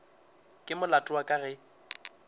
ke molato wa ka ge